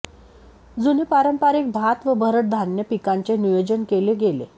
जुने पारंपरिक भात व भरडधान्य पिकांचे नियोजन केले गेले